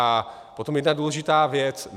A potom jedna důležitá věc.